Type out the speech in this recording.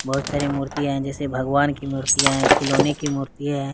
बहुत सारी मूर्तियां हैं जैसे भगवान की मूर्तियां हैं खिलौने की मूर्तियां हैं।